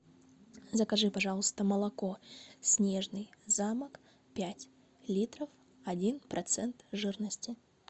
закажи пожалуйста молоко снежный замок пять литров один процент жирности